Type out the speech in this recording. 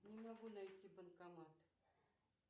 не могу найти банкомат